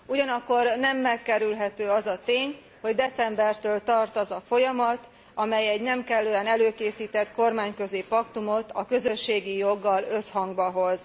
Ugyanakkor nem megkerülhető az a tény, hogy decembertől tart az a folyamat, amely egy nem kellően előkészített kormányközi paktumot a közösségi joggal összhangba hoz.